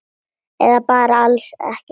Eða bara alls ekki neitt?